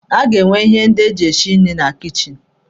A ga-enwe ihe ndị eji esi nri na kichin.